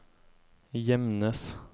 Gjemnes